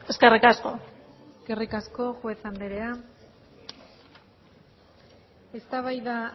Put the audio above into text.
eskerrik asko eskerrik asko juez anderea eztabaida